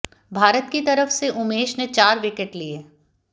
भारत की तरफ से उमेश ने चार विकेट लिए